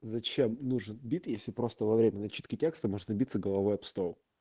зачем нужен бит если просто во время начитки текста можно биться головой об стол